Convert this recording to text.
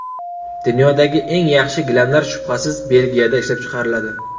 Dunyodagi eng yaxshi gilamlar shubhasiz Belgiyada ishlab chiqariladi.